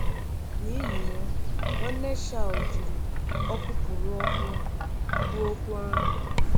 “N’ihi ya, Nwanne Shaw jiri ọkụpụrụ ọkụ kwuo okwu ahụ.